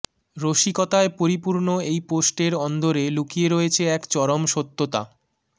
রসিকতায় পরিপূর্ণ এই পোস্টের অন্দরে লুকিয়ে রয়েছে এক চরম সত্যতা